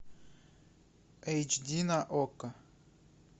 эйч ди на окко